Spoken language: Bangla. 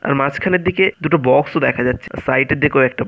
আর মাঝখানের দিকে দুটো বক্স ও দেখা যাচ্ছে। সাইড এর দিকেও কয়েকটা --